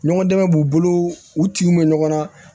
Ɲɔgɔn dɛmɛ b'u bolo u tinw bɛ ɲɔgɔn na